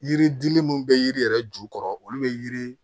Yiri dili minnu bɛ yiri yɛrɛ jukɔrɔ olu bɛ yiri